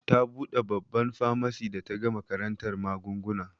Ta buɗe babban famasi da ta gama karantar magunguna.